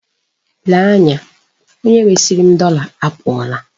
Lee anya, onye resiri m dọla apụọla.